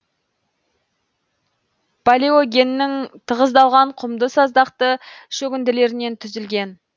палеогеннің тығыздалған құмды саздақты шөгінділерінен түзілген